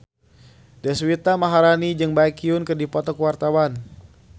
Deswita Maharani jeung Baekhyun keur dipoto ku wartawan